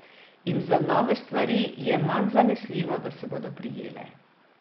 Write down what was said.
In za nove stvari je manj zanesljivo, da se bodo prijele.